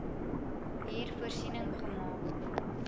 hier voorsiening gemaak